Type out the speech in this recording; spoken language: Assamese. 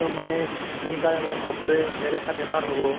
ম মানে সোনকালে মানে চকুৰে নোশুনা বেমাৰ হʼব ।